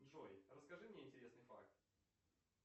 джой расскажи мне интересный факт